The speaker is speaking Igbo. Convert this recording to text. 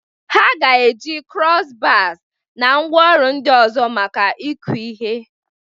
Ha ga-eji cross-bars na ngwaọrụ ndị ọzọ maka ịkụ ihe.